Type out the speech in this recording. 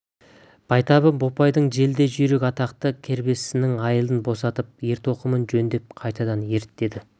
байтабын бопайдың желдей жүйрік атақты кербестісінің айылын босатып ер-тоқымын жөндеп қайтадан ерттеді